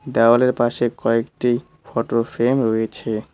দেওয়ালের পাশে কয়েকটি ফোটো ফ্রেম রয়েছে।